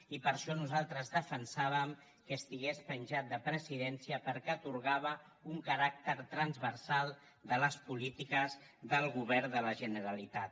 i per això nosaltres defensàvem que estigués penjat de presidència perquè atorgava un caràcter transversal a les polítiques del govern de la generalitat